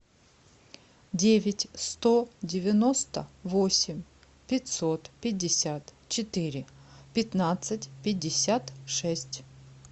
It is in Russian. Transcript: девять сто девяносто восемь пятьсот пятьдесят четыре пятнадцать пятьдесят шесть